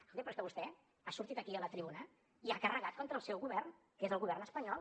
escolti’m però és que vostè ha sortit aquí a la tribuna i ha carregat contra el seu govern que és el govern espanyol